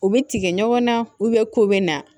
U bɛ tigɛ ɲɔgɔn na ko bɛ na